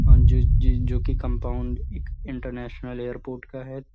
और जो-जो जोकि कंपाउंड इक इंटरनेशनल ऐयरपोट का है।